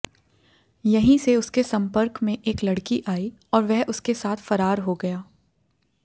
यहीं से उसके संपर्क में एक लड़की आई और वह उसके साथ फरार हो गया